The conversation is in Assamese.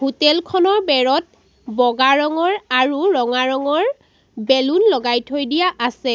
হোটেল খনৰ বেৰত বগা ৰঙৰ আৰু ৰঙা ৰঙৰ বেলুন লগাই থৈ দিয়া আছে।